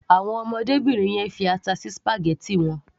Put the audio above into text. Àwọn ọmọdébìnrin yẹn fi ata sí spaghetti wọn.